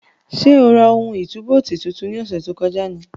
Sé o ra ohun ìtúbóòtì tuntun ní ọ̀sẹ̀ tó kọjá ni?